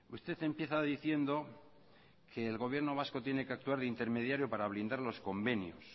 usted empieza diciendo que el gobierno vasco tiene que actuar de intermediario para blindar los convenios